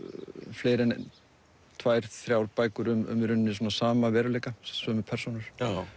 fleiri en tvær þrjár bækur um sama veruleika sömu persónur